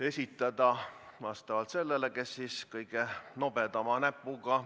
Seda saab teha see, kes on kõige nobedamate näppudega.